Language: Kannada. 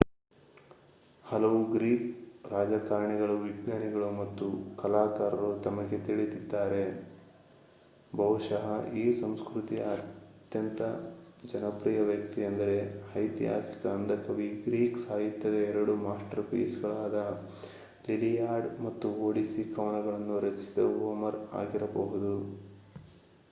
ಹಲವು ಗ್ರೀಕ್‌ ರಾಜಕಾರಣಿಗಳು ವಿಜ್ಞಾನಿಗಳು ಮತ್ತು ಕಲಾಕಾರರು ನಮಗೆ ತಿಳಿದಿದ್ದಾರೆ. ಬಹುಶಃ ಈ ಸಂಸ್ಕೃತಿಯ ಅತ್ಯಂತ ಜನಪ್ರಿಯ ವ್ಯಕ್ತಿಯೆಂದರೆ ಐತಿಹಾಸಿಕ ಅಂಧ ಕವಿ ಗ್ರೀಕ್ ಸಾಹಿತ್ಯದ ಎರಡು ಮಾಸ್ಟರ್‌ಪೀಸ್‌ಗಳಾದ ಲಿಲಿಯಾಡ್ ಮತ್ತು ಒಡಿಸ್ಸಿ ಕವನವನ್ನು ರಚಿಸಿದ ಹೋಮರ್ ಆಗಿರಬಹುದು